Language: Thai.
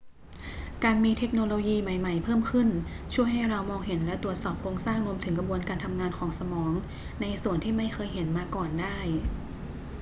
การมีเทคโนโลยีใหม่ ๆ เพิ่มขึ้นช่วยให้เรามองเห็นและตรวจสอบโครงสร้างรวมถึงกระบวนการทำงานของสมองในส่วนที่ไม่เคยเห็นมาก่อนได้